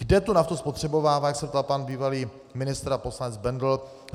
Kde tu naftu spotřebovává, jak se ptal pan bývalý ministr a poslanec Bendl.